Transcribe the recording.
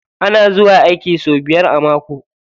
Ana zuwa aiki sau biyar a mako.